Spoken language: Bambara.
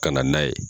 Ka na n'a ye